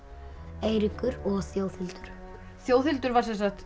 Eiríkur og Þjóðhildur Þjóðhildur var